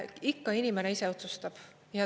Ikka inimene ise otsustab.